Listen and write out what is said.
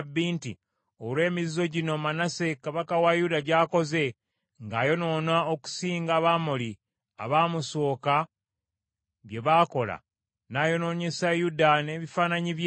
nti, “Olw’emizizo gino Manase kabaka wa Yuda gy’akoze, ng’ayonoona okusinga Abamoli abaamusooka bye baakola, n’ayonoonyesa Yuda n’ebifaananyi bye,